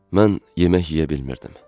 Mən yemək yeyə bilmirdim.